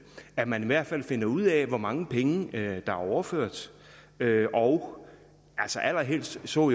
at man i hvert fald finder ud af hvor mange penge der er overført og allerhelst så